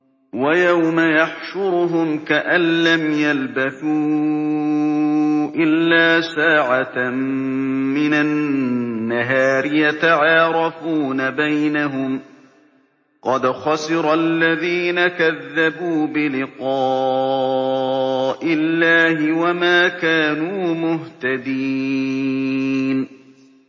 وَيَوْمَ يَحْشُرُهُمْ كَأَن لَّمْ يَلْبَثُوا إِلَّا سَاعَةً مِّنَ النَّهَارِ يَتَعَارَفُونَ بَيْنَهُمْ ۚ قَدْ خَسِرَ الَّذِينَ كَذَّبُوا بِلِقَاءِ اللَّهِ وَمَا كَانُوا مُهْتَدِينَ